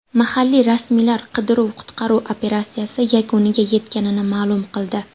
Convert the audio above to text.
Mahalliy rasmiylar qidiruv-qutqaruv operatsiyasi yakuniga yetganini ma’lum qildi.